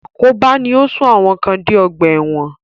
Àkóbá ni ó sún àwọn kan dé ọgbà ẹ̀wọ̀n.